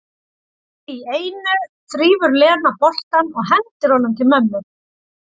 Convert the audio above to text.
Allt í einu þrífur Lena boltann og hendir honum til mömmu.